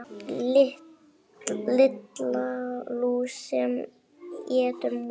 Lilla lús sem étur mús.